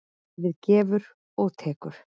Lífið gefur og tekur.